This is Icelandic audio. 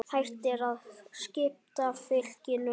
Hægt er að skipta fylkinu